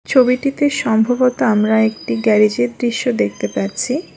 ছবিটিতে সম্ভবত আমরা একটি গ্যারেজের দৃশ্য দেখতে পাচ্ছি।